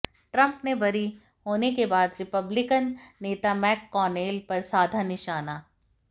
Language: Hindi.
ट्रंप ने बरी होने के बाद रिपब्लिकन नेता मैककॉनेल पर साधा निशाना